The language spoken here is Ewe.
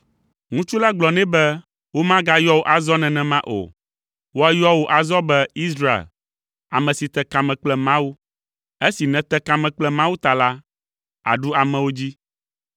Ŋutsu la gblɔ nɛ be, “Womagayɔ wò azɔ nenema o! Woayɔ wò azɔ be Israel, ame si te kame kple Mawu. Esi nète kame kple Mawu ta la, àɖu amewo dzi.”